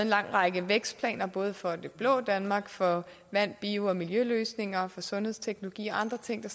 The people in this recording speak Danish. lang række vækstplaner både for det blå danmark for vand bio og miljøløsninger og for sundhedsteknologi og andre ting der